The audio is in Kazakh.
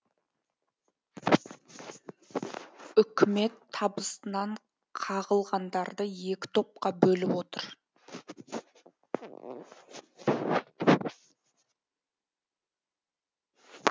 үкімет табысынан қағылғандарды екі топқа бөліп отыр